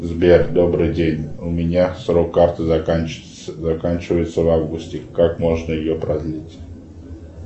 сбер добрый день у меня срок карты заканчивается в августе как можно ее продлить